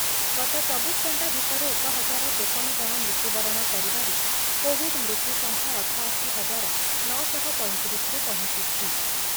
ଗତ ଚବିଶ ଘଣ୍ଟା ଭିତରେ ଏକ ହଜାର ତେପନ ଜଣ ମୃତ୍ୟୁବରଣ କରିବାରୁ କୋଭିଡ୍ ମୃତ୍ୟୁସଂଖ୍ୟା ଅଠାଅଶି ହଜାର ନଅ ଶହ ପଞ୍ଚତିରିଶରେ ପହଞ୍ଚିଛି ।